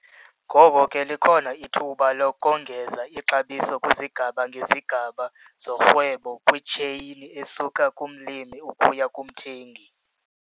Ngoko ke likhona ithuba lokongeza ixabiso kwizigaba ngezigaba zorhwebo kwitsheyini esuka kumlimi ukuya kumthengi.